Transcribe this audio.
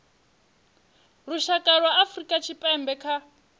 lushaka lwa afrika tshipembe kha